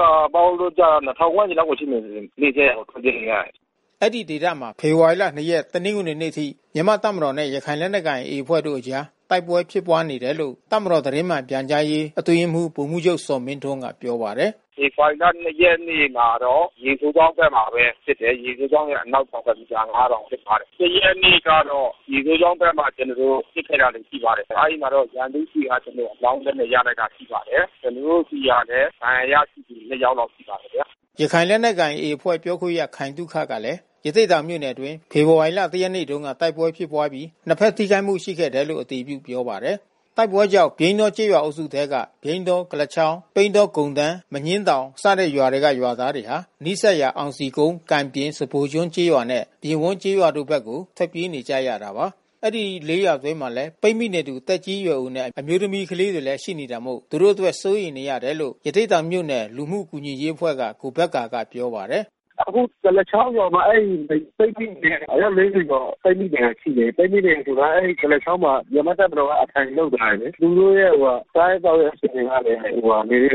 ရွာပေါင်းလို့ ကျတော့ ၂၀၀၀ ဝန်းကျင်လောက် ရှိမယ်။ နီးစပ်ရာကို ထွက်ပြေးနေရ တယ်။” ရခိုင်စစ်ဘေးရှောင် တသိန်းကျော်ရှိ သတင်းကိုဖတ်ရှုနိုင်ပါပြီ။ အဲဒီဒေသမှာ ဖေဖော်ဝါရီလ ၂ ရက် တနင်္ဂနွေနေ့ အထိ မြန်မာ့တပ်မတော်နဲ့ ရခိုင်လက်နက်ကိုင် AA အဖွဲ့တို့ကြား တိုက်ပွဲတွေ ဖြစ်ပွားနေခဲ့တယ်လို့ တပ်မတော် သတင်းမှန်ပြန်ကြားရေး အတွင်းရေးမှူး ဗိုလ်မှူးချုပ်ဇော်မင်းထွန်းက ပြောပါတယ်။ “ဖေဖေါ်ဝါရီ ၂ ရက်နေ့မှာတော့ ရေစိုးချောင်းဘက်မှာပဲ ဖြစ်တယ်။ ရေစိုးချောင်းရဲ့ အနောက်တောင်ဘက် မီတာ ၅,၀၀၀ လောက်မှာ ဖြစ်ပွားတယ်။ ၁ ရက်နေ့ကတော့ ရေစိုးချောင်းဘက်က ကျနော်တို့ ပစ်ခဲ့တာတွေရှိပါတယ်။ အဲဒီမှာတော့ ရန်သူ့ဆီက ကျနော်တို့အလောင်းလက်နက် ရလိုက်တာ ရှိပါတယ်။ ကျနော်တို့ဆီကလည်း ဒဏ်ရာရ လိုက်သူ ၂ ယောက်ရှိပါတယ်။" ရခိုင်လက်နက်ကိုင် AA အဖွဲ့ ပြောခွင့်ရခိုင်သုခကလည်း ရသေ့တောင်မြို့နယ်အတွင်း ဖေဖေါ်ဝါရီ ၁ ရက်နေ့တုန်းက တိုက်ပွဲဖြစ်ပြီး နှစ်ဘက်ထိခိုက်မှု ရှိခဲ့တယ်လို့ အတည်ပြုပြောပါတယ်။ တိုက်ပွဲတွေကြောင့် ပြိန်းတောကျေးရွာအုပ်စုထဲက ပြိန်းတော၊ ကုလားချောင်း၊ ပိန်းတောကုန်တန်း၊ မညှင်းတောင် စတဲ့ရွာတွေက ရွာသားတွေ ဟာ နီးစပ်ရာ အောင်စည်ကုန်း၊ ကံပြင်၊ စဖိုကျွန်းကျေးရွာနဲ့ ပြင်ဝန်းကျေးရွာတို့ဘက်ကို ထွက်ပြေးနေ ကြတာပါ။ ဒီ ၄ ရွာ အတွင်းမှာလည်း ပိတ်မိနေသူ သက်ကြီးရွယ်အိုနဲ့ အမျိုးသမီးကလေးတွေလည်း ရှိနေတာမို့ သူတို့ အတွက် စိုးရိမ်နေရ တယ်လို့ ရသေ့တောင်မြို့နယ် လူမှုကူညီရေးအဖွဲ့က ကိုဘက္ကာကပြော ပါတယ်။ “အခု ကုလားချောင်းရွာမှာ အယောက် ၄၀ ကျော် ပိတ်မိနေတာ ရှိတယ်။ ပိတ်မိနေတယ်ဆိုတာ အဲဒီ ကုလားချောင်းမှာ မြန်မာ့ တပ်မတော်က အထိုင်လုပ်ထား တယ်လေ။ သူတို့ရဲ့ စားရေးသောက်ရေး အခြေအနေကလဲ စိုးရိမ်ရတဲ့ အခြေအနေ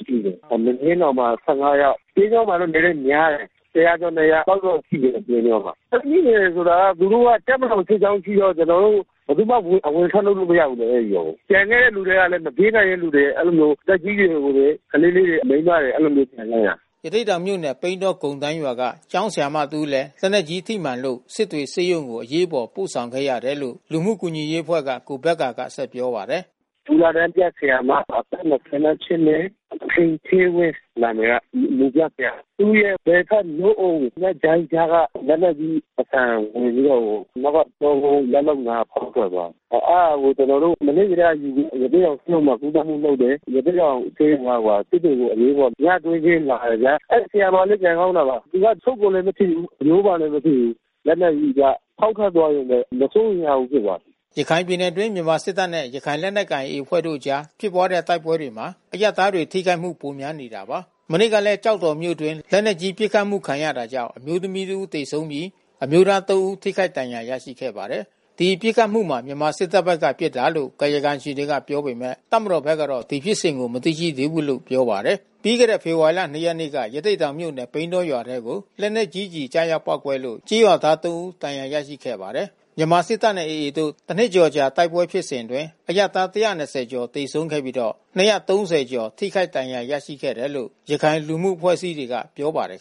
ရှိတယ်။ မညှင်းတောင်မှာ ၁၅ ယောက်။ ပြိန်းတောမှာတော့ နည်းနည်းများတယ်။ ၁၀၀ ကျော် ၂၀၀ လောက်တော့ ရှိမယ်။ တပ်မတော် စစ်ကြောင်းရှိတော့ ကျနော်တို့ ဘယ်သူမှ ဝင်ထွက်လို့ မရဘုူး အဲဒီရွာကို။ ကျန်တဲ့လူတွေ ကလဲ မပြေး နိုင်တဲ့ လူတွေ။ အဲဒီလိုမျိုး။ သက်ကြီး ရွယ်အိူတွေ ကလေးလေးတွေ မိန်းမတွေ အဲဒီလိုမျိုး ကျန်ခဲ့တာ။” ရသေ့တောင်မြို့နယ် ပိန်းတောကုန်တန်းရွာက ကျောင်းဆရာမ တဦး လည်း လက်နက်ကြီး ထိမှန်လို့ စစ်တွေ ဆေးရုံကို အရေးပေါ်ပို့ဆောင်ခဲ့ရတယ်လို့ လူမှုကူညီရေးအဖွဲ့က ကိုဘက္ကာ က ပြောပါတယ်။ “မူလတန်းပြ ဆရာမ အသက် ၂၈ နှစ် ခင်ဌေးဝင်း နာမည်က။ မူပြဆရာ။ သူ့ရဲ့ဘယ် ဘက်နို့အုံနဲ့ ဂျိုင်းကြားက လက်နက်ကြီး အဆံဝင်ပြီးတော့ နောက်က ကျောကုန်း လက်အနား ဖောက်ထွက်သွားတယ်။ အဲတာကို ကျနော်တို့ မနေ့ကတည်းက ယူပြီး ရသေ့တောင်ဆေးရုံမှာ ကုသမှု လုပ်တယ်။ ရသေ့တောင် ဆေးရုံက စစ်တွေကို အရေးပေါ် ညတွင်းချင်း လာတယ်ဗျာ။ အဲဒီဆရာမလေး ကံကောင်းတာက သူက အဆုတ်ကိုလည်း မထိဘူး၊ အရိုးကိုလဲ မထိ ဘူး။ လက်နက်ကြီးက ဖောက်ထွက်သွားယုံပဲ။ မစိုးရိမ်ရဘူး ဖြစ်သွား တယ်။” ရခိုင်ပြည်နယ်အတွင်း မြန်မာ့စစ်တပ်နဲ့ ရခိုင်လက်နက်ကိုင် AA အဖွဲ့တို့အကြားဖြစ်ပွားတဲ့ တိုက်ပွဲတွေမှာ အရပ်သားတွေ ထိခိုက်မှုတွေ ပိုများနေတာပါ။ မနေ့ကလည်း ကျောက်တော်မြို့အတွင်း လက်နက်ကြီး ပစ်ခတ်မှုခံရတာကြောင့် အမျိုးသမီး တဦး သေဆုံးပြီး အမျိုးသား ၃ ဦး ထိခိုက် ဒဏ်ရာ ရရှိခဲ့ပါတယ်။ ဒီပစ်ခတ်မှုဟာ မြန်မာစစ်တပ်ဘက်က ပစ်ခတ်တာလို့ ကာယကံရှင်တွေက ပြောပေမဲ့ တပ်မတော်ဘက်ကတော့ ဒီဖြစ်စဉ်ကို မသိရသေးဘူး လို့ပြောပါတယ်။ ြပီးခဲ့တဲ့ဖေဖော်ဝါရီ ၂ ရက်နေ့ကရသေ့တောင်မြို့နယ် ပြိန်းတောကျေးရွာထဲကို လက်နက်ကြီးကျည် ကျရောက် ပေါက်ကွဲလို့ ကျေးရွာသား ၃ ဦး ဒဏ်ရာ ရရှိခဲ့ပါတယ်။ မြန်မာစစ်တပ်နဲ့AA တို့တနှစ်ကျော်အကြာ တိုက်ပွဲဖြစ်စဉ်အတွင်း အရပ်သား ၁၂၀ ကျော် သေဆုံးခဲ့ပြီးတော့ ၂၃၀ ကျော် ထိခိုက်ဒဏ်ရာ ရရှိခဲ့တယ်လို့ ရခိုင်လူမှု အဖွဲ့အစည်းတွေ ကပြောပါတယ်